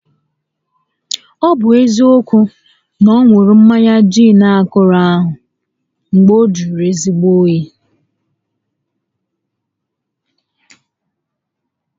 Ọ bụ eziokwu, ọ ṅụrụ mmanya giin akọrọ ahụ mgbe ọ jụrụ ezigbo óyi